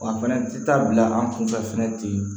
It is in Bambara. Wa fɛnɛ ti taa bila an kunfɛ fɛnɛ ten